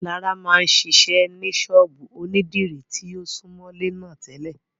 Lará máa ń ṣiṣẹ́ ní ṣọ́ọ̀bú ònídìrí tí ó súmọ́lé náà tẹ́lẹ̀